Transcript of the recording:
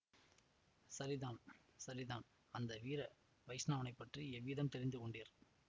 சரிதான் சரிதான் அந்த வீர வைஷ்ணவனை பற்றி எவ்விதம் தெரிந்து கொண்டீர்